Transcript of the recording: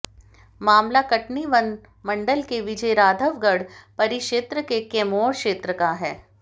मामला कटनी वन मंडल के विजयराधवगढ परिक्षेत्र के कैमोर क्षेत्र का है